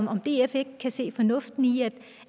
om df ikke kan se fornuften i